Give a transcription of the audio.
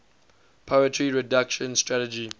poverty reduction strategy